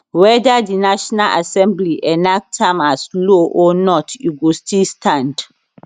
weda di national assembly enact am as law or not e go still stand